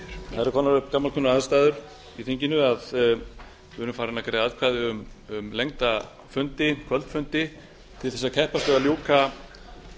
það eru komnar upp gamalkunnar aðstæður í þinginu að við erum farin að greiða atkvæði um lengda fundi kvöldfundi til þess að keppast við að ljúka